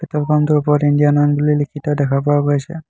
Petrol pump টোৰ ওপৰত Indian oil বুলি লিখি থোৱা দেখা পোৱা গৈছে।